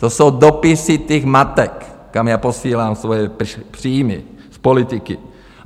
To jsou dopisy těch matek, kam já posílám svoje příjmy z politiky.